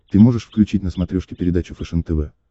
ты можешь включить на смотрешке передачу фэшен тв